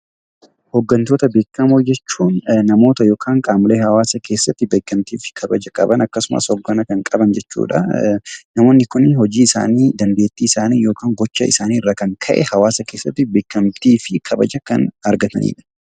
Hoggantoota beekamoo jechuun namoota yookiin qaamolee hawaasa keessatti beekamtii fi kabaja qaban akkasumas hoggana qaban jechuudha. Namoonni kun hojii isaanii, dandeettii isaanii yookaan gocha isaanii irraa kan ka'e hawaasa keessatti beekamtii fi kabaja kan argatanidha.